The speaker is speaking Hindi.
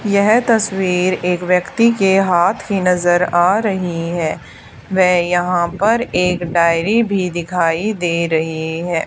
यह तस्वीर एक व्यक्ति के हाथ की नजर आ रही है वे यहा पर एक डायरी भी दिखाई दे रही है।